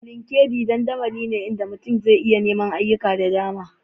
LinkedIn dandamali ne inda mutum zai iya neman ayyuka da dama